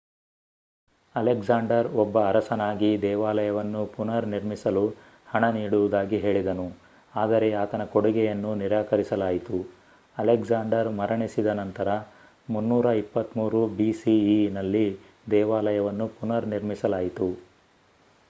Alexander ಒಬ್ಬ ಅರಸನಾಗಿ ದೇವಾಲಯವನ್ನು ಪುನರ್ನಿರ್ಮಿಸಲು ಹಣ ನೀಡುವುದಾಗಿ ಹೇಳಿದನು ಆದರೆ ಆತನ ಕೊಡುಗೆಯನ್ನು ನಿರಾಕರಿಸಲಾಯಿತು. ಅಲೆಕ್ಸಾಂಡರ್ ಮರಣಿಸಿದ ನಂತರ 323 bceನಲ್ಲಿ ದೇವಾಲಯವನ್ನು ಪುನರ್ನಿರ್ಮಿಸಲಾಯಿತು